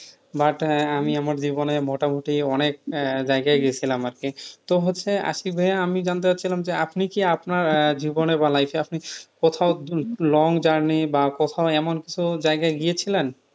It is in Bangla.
but হ্যাঁ আমি আমার জীবনে মোটামটি অনেক জায়গায় গিয়েছিলাম আরকি তো হচ্ছে আজকে ভাইয়া আমি জানতে চাচ্ছিলাম যে আপনি কি আপনার আহ জীবনে বা life এ আপনি কোথাও long journey বা কোথাও এমন কিছু জায়গায় গিয়েছিলেন?